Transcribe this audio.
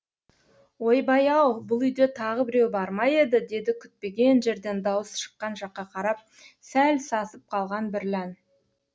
ойбай ау бұл үйде тағы біреу бар ма еді деді күтпеген жерден дауыс шыққан жаққа қарап сәл сасып қалған бірлән